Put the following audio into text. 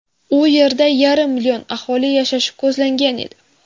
U yerda yarim million aholi yashashi ko‘zlangan edi.